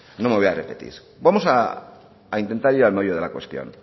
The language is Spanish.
no me voy a repetir vamos a intentar al meollo de la cuestión